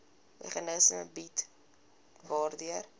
meganisme bied waardeur